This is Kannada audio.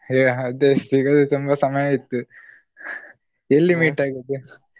ಹೆ ಅದು ಸಿಗದೇ ತುಂಬ ಸಮಯ ಆಯ್ತು. ಎಲ್ಲಿ meet ಆಗುದು?